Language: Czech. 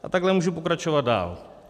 A takhle můžu pokračovat dál.